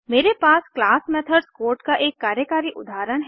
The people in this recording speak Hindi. मेरे पास क्लास मेथड्स कोड का एक कार्यकारी उदाहरण है